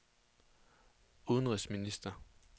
udenrigsminister